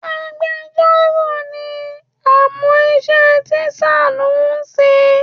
Agbejọ́rò ni àmọ́ iṣẹ́ tíṣà ló ń ṣe.